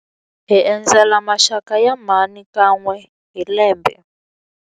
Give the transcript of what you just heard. Hi endzela maxaka ya mhani kan'we hi lembe.